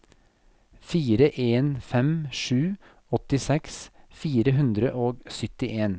fire en fem sju åttiseks fire hundre og syttien